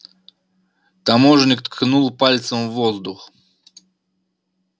таможенник ткнул пальцем в воздух